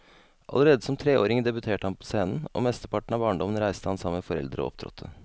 Allerede som treåring debuterte han på scenen, og mesteparten av barndommen reiste han sammen med foreldrene og opptrådte.